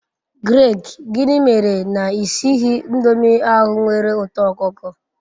Greg, gini mere na I sighi indomi ahu nwere uto okuko